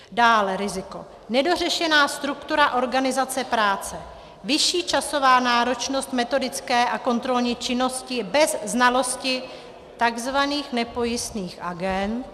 Další riziko - nedořešená struktura organizace práce, vyšší časová náročnost metodické a kontrolní činnosti bez znalosti tzv. nepojistných agend -